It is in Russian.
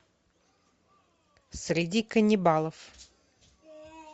среди каннибалов